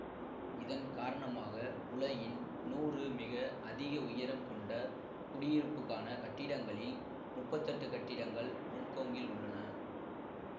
இதன் காரணமாக உலகின் நூறு மிக அதிக உயரம் கொண்ட குடியிருப்புக்கான கட்டிடங்களில் முப்பத்தி எட்டு கட்டிடங்கள் ஒங்கொங்கில் உள்ளன